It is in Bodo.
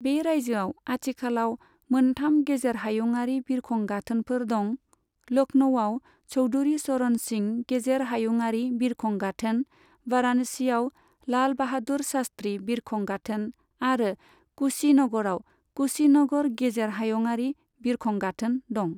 बे रायजोआव आथिखालाव मोनथाम गेजेर हायुंआरि बिरखं गाथोनफोर दं, लख्नौआव चौधुरी चरण सिं गेजेर हायुङारि बिरखं गाथोन, वाराणसीआव लाल बाहादुर शास्त्री बिरखं गाथोन आरो कुशीनगराव कुशीनगर गेजेर हायुङारि बिरखं गाथोन दं।